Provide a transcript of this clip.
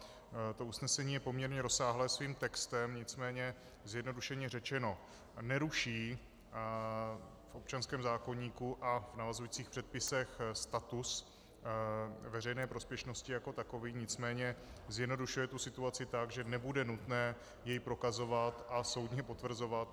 To usnesení je poměrně rozsáhlé svým textem, nicméně, zjednodušeně řečeno, neruší v občanském zákoníku a v navazujících předpisech status veřejné prospěšnosti jako takový, nicméně zjednodušuje tu situaci tak, že nebude nutné jej prokazovat a soudně potvrzovat.